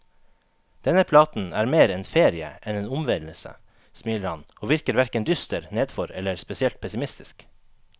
Denne platen er mer en ferie enn en omvendelse, smiler han, og virker hverken dyster, nedfor eller spesielt pessimistisk.